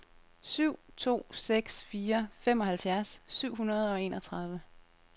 syv to seks fire femoghalvfjerds syv hundrede og enogtredive